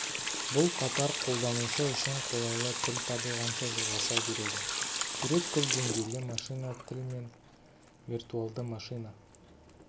бұл қатар қолданушы үшін қолайлы тіл табылғанша жалғаса береді сурет көпдеңгейлі машина тіл мен виртуалды машина